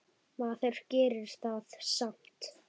Maður gerði það samt.